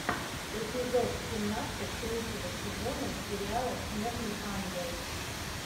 эпизод семнадцать третьего сезона сериала снежный ангел